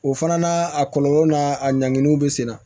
O fana na a kɔlɔlɔw n'a a ɲanginiw bɛ sen na